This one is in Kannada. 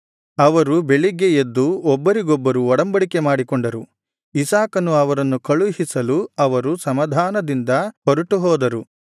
ಅವರು ಬೆಳಿಗ್ಗೆ ಎದ್ದು ಒಬ್ಬರಿಗೊಬ್ಬರು ಒಡಂಬಡಿಕೆ ಮಾಡಿಕೊಂಡರು ಇಸಾಕನು ಅವರನ್ನು ಕಳುಹಿಸಲು ಅವರು ಸಮಾಧಾನದಿಂದ ಹೊರಟುಹೋದರು